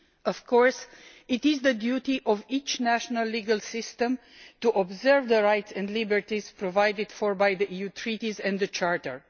Of course it is the duty of each national legal system to observe the rights and liberties provided for by the EU Treaties and the Charter.